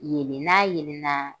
Yelen n'a yelenna